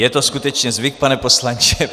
Je to skutečně zvyk, pane poslanče.